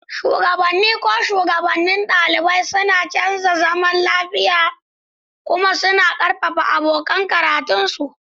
Shugabanni, ko shugabannin ɗalibai, suna kiyaye zaman lafiya kuma suna ƙarfafa abokan karatunsu.